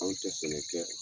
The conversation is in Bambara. Anw tɛ sɛnɛ kɛ.